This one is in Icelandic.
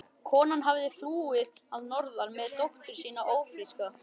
Konan hafði flúið að norðan með dóttur sína ófríska.